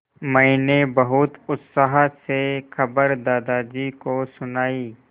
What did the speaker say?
मैंने बहुत उत्साह से खबर दादाजी को सुनाई